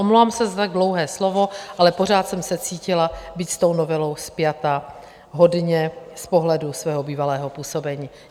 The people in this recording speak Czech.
Omlouvám se za tak dlouhé slovo, ale pořád jsem se cítila být s tou novelou spjata hodně z pohledu svého bývalého působení.